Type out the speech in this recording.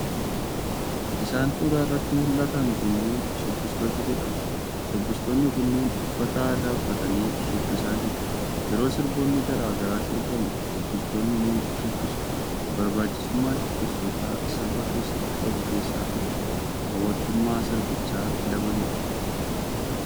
Isaan suuraa irratti muldhatan kunniin shubbistoota jedhamu. Shubbistoonni kunniin uffata aadaa uffatanii shubbisaa jiru. Yeroo sirboonni garaa garaa sirbamu shubbistoonni ni shubbisu. Barbaachisummaan shubbistootaa sirba keessatti qabu keessaa tokko hawatamummaa sirbichaa dabaluudha.